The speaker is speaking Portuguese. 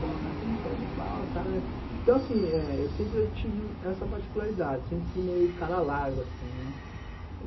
Pô, mas você é muito cara de pau, os caras... Então, assim, eu sempre tive essa particularidade, sempre fui meio o cara larga, assim, né?